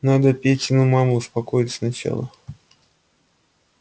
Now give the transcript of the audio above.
надо петину маму успокоить сначала